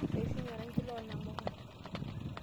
Eishunye orangi loo namuka.